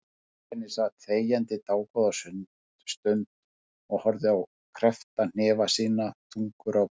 Benni sat þegjandi dágóða stund og horfði á kreppta hnefa sína, þungur á brún.